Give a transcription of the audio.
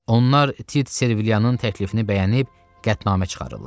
Onlar Tit Serviliyanın təklifini bəyənib qətnamə çıxarırlar.